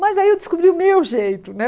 Mas aí eu descobri o meu jeito, né?